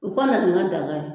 U ka na n'i n ka daga ye